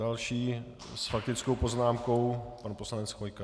Další s faktickou poznámkou pan poslanec Chvojka.